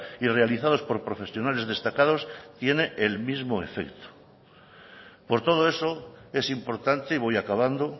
y realizados por profesionales destacados tiene el mismo efecto por todo eso es importante y voy acabando